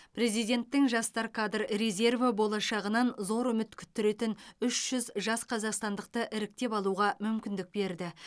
президенттің жастар кадр резерві болашағынан зор үміт күттіретін үш жүз жас қазақстандықты іріктеп алуға мүмкіндік берді